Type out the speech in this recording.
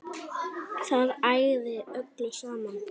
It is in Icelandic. Það ægði öllu saman